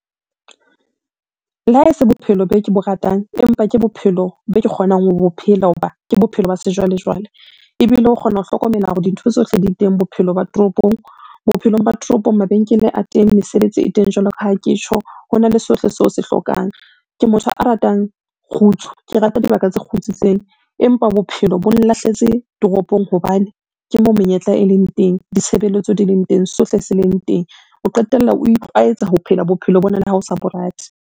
Le ha e se bophelo be ke bo ratang, empa ke bophelo be ke kgonang ho bophelo ho ba ke bophelo ba sejwalejwale, ebile o kgona ho hlokomela hore dintho tsohle di teng bophelo ba toropong. Bophelong ba toropong mabenkele a teng, mesebetsi e teng jwalo ka ha ke tjho, ho na le sohle seo se hlokang. Ke motho a ratang kgutso, ke rata dibaka tse kgutsitseng, empa bophelo bo nlahletse toropong hobane ke moo menyetla e leng teng, ditshebeletso di leng teng, sohle se leng teng. O qetella o itlwaetsa ho phela bophelo bona le ha o sa bo rate.